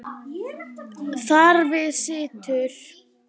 Þar við situr.